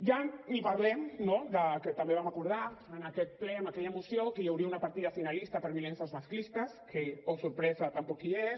ja ni parlem no del que també vam acordar en aquest ple en aquella moció que hi hauria una partida finalista per violències masclistes que oh sorpresa tampoc hi és